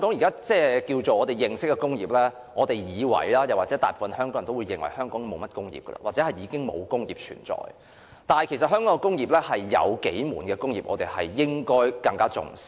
大部分香港人也會認為香港已經沒有甚麼工業，或已經沒有工業存在，但其實香港有數門工業，我們應該更為重視。